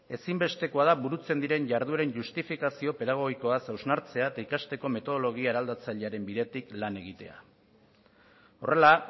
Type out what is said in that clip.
ezinbestekoa da burutzen diren jardueren justifikazio pedagogikoa hausnartzea eta ikasteko metodologia eraldatzailearen bidetik lan egitea horrela